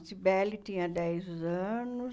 A Cybele tinha dez anos.